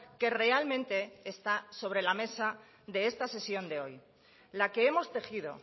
que realmente está sobre la mesa de esta sesión de hoy la que hemos tejido